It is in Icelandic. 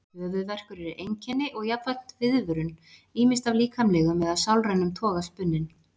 Höfuðverkur er einkenni og jafnframt viðvörun, ýmist af líkamlegum eða sálrænum toga spunninn.